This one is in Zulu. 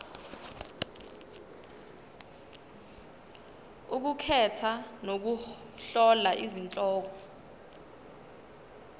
ukukhetha nokuhlola izihloko